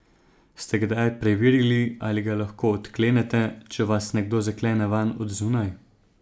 Ste kdaj preverili, ali ga lahko odklenete, če vas nekdo zaklene vanj od zunaj?